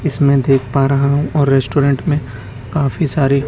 इसमें देख पा रहा हैं और रेस्टोरेंट में काफी सारी--